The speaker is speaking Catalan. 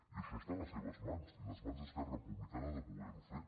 i això està en les seves mans i en les mans d’esquerra republicana de poder ho fer